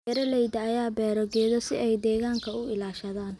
Beeralayda ayaa beera geedo si ay deegaanka u ilaashadaan.